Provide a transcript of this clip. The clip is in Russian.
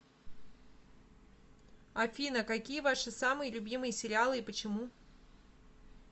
афина какие ваши самые любимые сериалы и почему